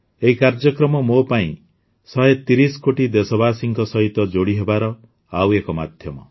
ଏହି କାର୍ଯ୍ୟକ୍ରମ ମୋ ପାଇଁ ୧୩୦ କୋଟି ଦେଶବାସୀଙ୍କ ସହିତ ଯୋଡ଼ି ହେବାର ଆଉ ଏକ ମାଧ୍ୟମ